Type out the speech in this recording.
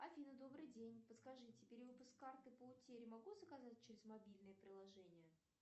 афина добрый день подскажите перевыпуск карты по утере могу заказать через мобильное приложение